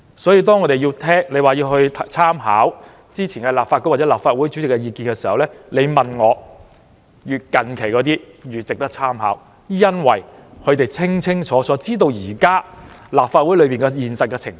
所以，如果要參考之前立法局或立法會主席的意見，我認為越近期的，越值得參考，因為他們清楚現時立法會的現實情況。